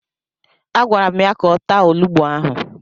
Agwara m ya ka ọ taa olugbu ahụ!